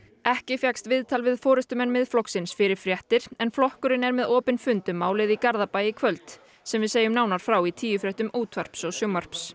ekki fékkst viðtal við forystumenn Miðflokksins fyrir fréttir en flokkurinn er með opinn fund um málið í Garðabæ í kvöld sem við segjum nánar frá í tíufréttum útvarps og sjónvarps